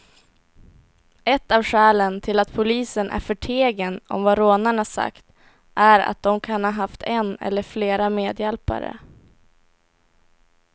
Ett av skälen till att polisen är förtegen om vad rånarna sagt är att de kan ha haft en eller flera medhjälpare.